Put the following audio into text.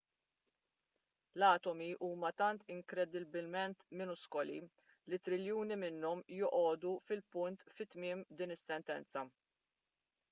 l-atomi huma tant inkredibbilment miniskoli li triljuni minnhom joqogħdu fil-punt fi tmiem din is-sentenza